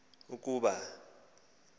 ukuba kho kweendlela